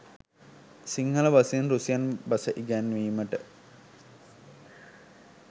සිංහල බසින් රුසියන් බස ඉගැන්වීමට